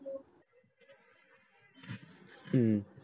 हम्म